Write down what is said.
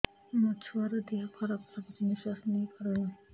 ମୋ ଛୁଆର ଦିହ ଖରାପ ଲାଗୁଚି ନିଃଶ୍ବାସ ନେଇ ପାରୁନି